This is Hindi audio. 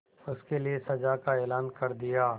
उसके लिए सजा का ऐलान कर दिया